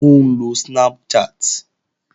Ó ń lo Snapchat